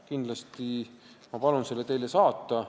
Kindlasti ma palun selle teile saata.